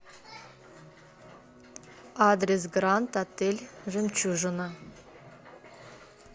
адрес гранд отель жемчужина